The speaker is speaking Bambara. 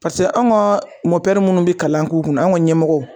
Paseke an ka minnu bɛ kalan k'u kunna an ka ɲɛmɔgɔw